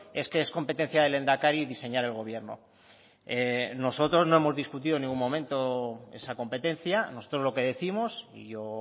es que es competencia del lehendakari diseñar el gobierno nosotros no hemos discutido en ningún momento esa competencia nosotros lo que décimos y yo